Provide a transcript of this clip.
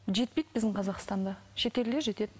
жетпейді біздің қазақстанда шетелде жетеді